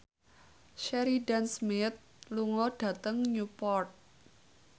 Sheridan Smith lunga dhateng Newport